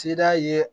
Seda ye